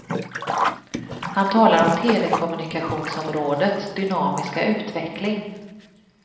Han talar om telekommunikationsområdets dynamiska utveckling.